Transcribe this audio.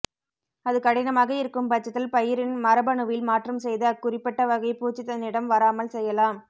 அது கடினமாக இருக்கும்பட்சத்தில் பயிரின் மரபணுவில் மாற்றம் செய்து அக்குறிப்பிட்ட வகை பூச்சி தன்னிடம் வராமல் செய்யலாம்